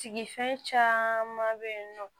Sigifɛn caaman be yen nɔ